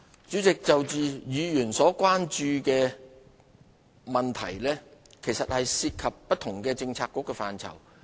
主席，就議員所關注的問題，涉及不同政策局的範疇。